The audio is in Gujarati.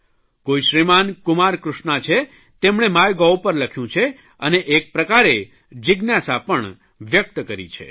કોઇ શ્રીમાન કુમારકૃષ્ણા છે તેમણે માય ગોવ પર લખ્યું છે અને એક પ્રકારે જિજ્ઞાસા પણ વ્યકત કરી છે